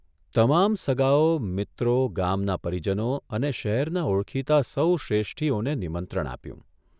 તમામ સગાઓ, મિત્રો, ગામના પરિજનો અને શહેરના ઓળખીતા સહુ શ્રેષ્ઠીઓને નિમંત્રણ આપ્યું.